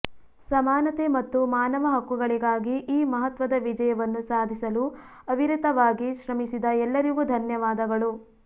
ಸಮಾನತೆ ಮತ್ತು ಮಾನವ ಹಕ್ಕುಗಳಿಗಾಗಿ ಈ ಮಹತ್ವದ ವಿಜಯವನ್ನು ಸಾಧಿಸಲು ಅವಿರತವಾಗಿ ಶ್ರಮಿಸಿದ ಎಲ್ಲರಿಗೂ ಧನ್ಯವಾದಗಳು